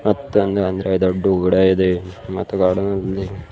ಮತ್ ಹಂಗ ಅಂದ್ರ ದೊಡ್ದು ಗಿಡ ಇದೆ ಮತ್ತ ದೊಡ್ಡದೊಂದ--